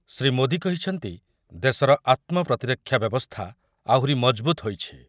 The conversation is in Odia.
ଶ୍ରୀଯୁକ୍ତ ମୋଦି କହିଛନ୍ତି, ଦେଶର ଆତ୍ମପ୍ରତିରକ୍ଷା ବ୍ୟବସ୍ଥା ଆହୁରି ମଜବୁତ୍ ହୋଇଛି ।